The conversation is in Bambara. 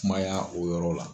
Kuma y' o yɔrɔ la.